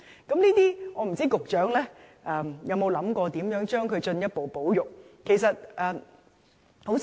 我不知道局長有沒有想過如何進一步保育這些習俗。